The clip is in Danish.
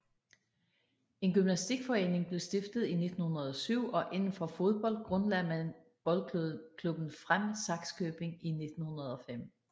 En gymnastikforening blev stiftet i 1907 og inden for fodbold grundlagde man boldklubben Frem Sakskøbing i 1905